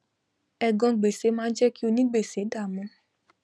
ègan gbèsè máá jé kí onígbèsè dàmú